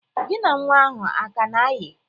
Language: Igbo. Gi na nnwa ahụ a ka na-ayị?